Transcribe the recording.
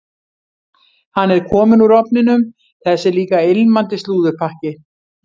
Hann er kominn úr ofninum, þessi líka ilmandi slúðurpakki.